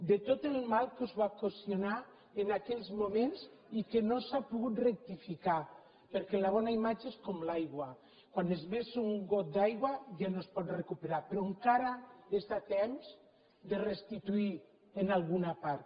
de tot el mal que els va ocasionar en aquells moments i que no s’ha pogut rectificar perquè la bona imatge és com l’aigua quan es vessa un got d’aigua ja no es pot recuperar però encara està a temps de restituir en alguna part